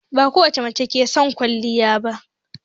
Bakowace mace ke son kwaliya ba